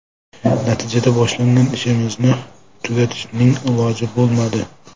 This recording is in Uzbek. Natijada boshlagan ishimizni tugatishning iloji bo‘lmadi.